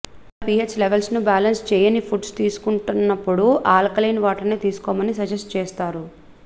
ఇలా పీహెచ్ లెవెల్స్ని బాలెన్స్ చేయని ఫుడ్స్ తీసుకుంటున్నప్పుడు ఆల్కలైన్ వాటర్ని తీసుకోమని సజెస్ట్ చేస్తారు